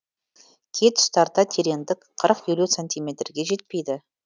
кей тұстарда тереңдік қырық елу сантиметрге жетпейді